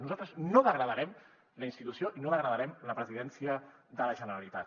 nosaltres no degradarem la institució i no degradarem la presidència de la generalitat